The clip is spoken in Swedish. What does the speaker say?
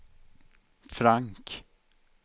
Frank